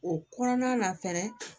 O kɔnɔna na fɛnɛ